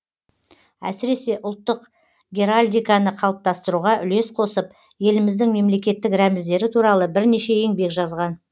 әсіресе ұлттық геральдиканы қалыптастыруға үлес қосып еліміздің мемлекеттік рәміздері туралы бірнеше еңбек жазған